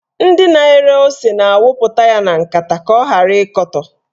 Ndị na-ere ose na-awụpụ ya na nkata ka ọ ghara ịkọtọ